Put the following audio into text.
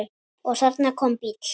Og þarna kom bíll.